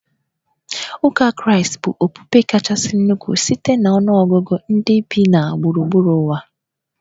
Ụka Kraịst bụ okpukpe kachasị ukwuu site na ọnụ ọgụgụ ndị bi na gburugburu ụwa